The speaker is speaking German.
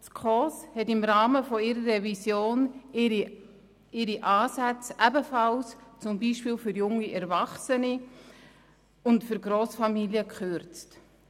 Die SKOS hat im Rahmen ihrer Revision ihre Ansätze ebenfalls zum Beispiel für junge Erwachsene und für Grossfamilien gekürzt.